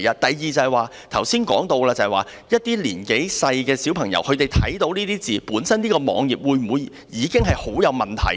第二，剛才說到，這個網頁讓一些年幼的小朋友看到這些字詞，本身會否已經有很大問題？